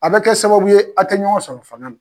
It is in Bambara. A bɛ kɛ sababu ye a tɛ ɲɔgɔn sɔrɔ fanga la